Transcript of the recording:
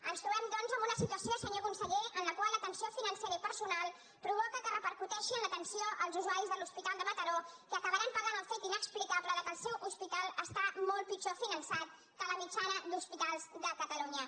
ens trobem doncs en una situació senyor conseller en la qual la tensió financera i personal provoca que repercuteixi en l’atenció als usuaris de l’hospital de mataró que acabaran pagant el fet inexplicable que el seu hospital està molt pitjor finançat que la mitjana d’hospitals de catalunya